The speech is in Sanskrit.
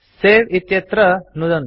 सवे इत्यत्र नुदन्तु